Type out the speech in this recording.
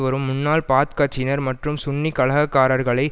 வரும் முன்னாள் பாத் கட்சியினர் மற்றும் சுன்னி கலகக்காரர்களை